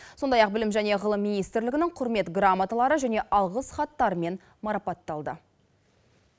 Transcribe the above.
сондай ақ білім және ғылым министрлігінің құрмет грамоталары және алғыс хаттарымен марапатталды